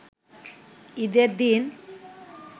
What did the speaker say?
ঈদের দিন